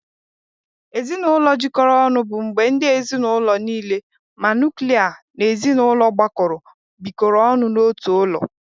Ezinụlọ jikọrọ ọnụ bụ mgbe ndị ezinaụlọ niile ma nuklia na ezinụlọ gbakọrọ bikọrọ ọnụ n'otu ụlọ.